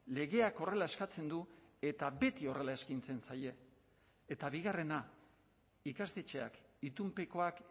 legeak horrela eskatzen du eta beti horrela eskaintzen zaie eta bigarrena ikastetxeak itunpekoak